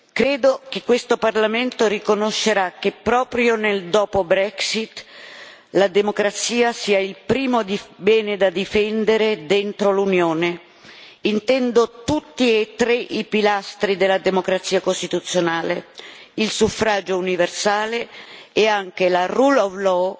Credo che questo Parlamento riconoscerà che, proprio nel dopo Brexit la democrazia sia il primo bene da difendere nell'Unione e intendo tutti e tre i pilastri della democrazia costituzionale il suffragio universale, la rule of law